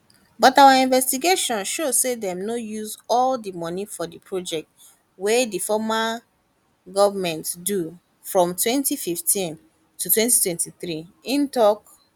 but our investigation show say dem no use all di money for di projects wey di former goment do from 2015 to 2023 im tok